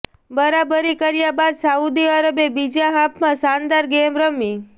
બરાબરી કર્યા બાદ સાઉદી અરબે બીજા હાફમાં શાનદાર ગેમ રમી